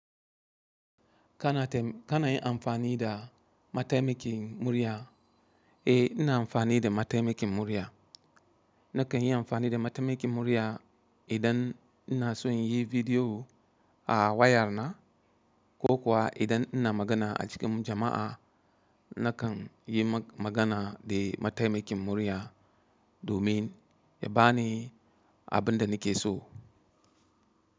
Kana yin amfani da mataimakin murya? Eh, ina amfani da mataimakin murya. Nakan yi amfani da mataimakin murya idan ina so in yi vidiyo a waya na ko kuwa idan ina magana a cikin jama'a, nakan yi magana da mataimakin murya domin ya bani abin da nake so.